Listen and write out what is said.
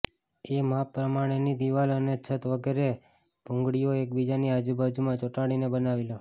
એ માપ પ્રમાણેની દિવાલ અને છત વગેરે ભૂંગળીઓ એકબીજાની બાજુબાજુમાં ચોંટાડીને બનાવી લો